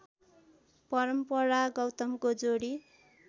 परम्परा गौतमको जोडी